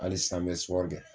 Hali san n bɛ kɛ.